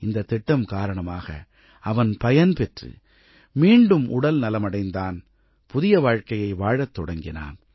இந்தத் திட்டம் காரணமாக அவன் பயனடைந்து மீண்டும் உடல் நலமடைந்தான் புதிய வாழ்க்கையை வாழத் தொடங்கினான்